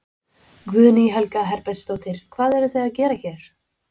Guðný Helga Herbertsdóttir: Hvað eruð þið að gera hér?